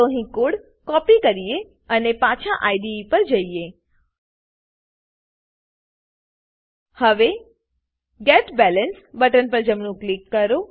ચાલો અહીં code copy કરીએ અને પાછા આઇડીઇ પર જઈએ હવે get balance get balance button પર જમણું ક્લિક કરો